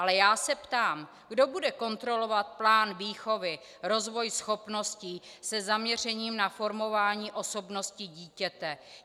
Ale já se ptám, kdo bude kontrolovat plán výchovy, rozvoj schopností se zaměřením na formování osobnosti dítěte?